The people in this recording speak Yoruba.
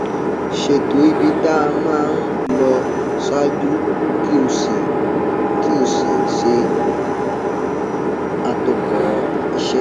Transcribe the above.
ṣètò ibi tá a máa lọ ṣáájú kí o sì kí o sì ṣe àtòkọ iṣé